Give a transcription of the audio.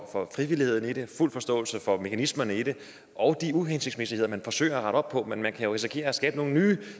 frivilligheden i det jeg har fuld forståelse for mekanismerne i det og de uhensigtsmæssigheder man forsøger at rette op på men man kan jo risikere at skabe nogle nye